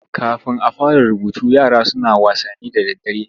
Kafin a fara rubutu yara suna wasanni da daddare.